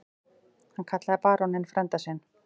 Hann kallaði baróninn frænda sinn.